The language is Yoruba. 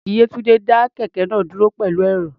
Búréèkì Yétúńdé dá kẹ̀kẹ́ náà dúró pẹ̀lú ẹ̀rọ̀.